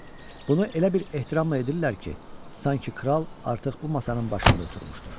Bunu elə bir ehtiramla edirlər ki, sanki kral artıq bu masanın başında oturmuşdur.